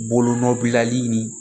Bolonɔ bilali nin